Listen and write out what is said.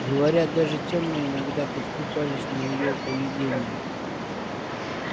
говорят даже тёмные иногда подкупались на её поведение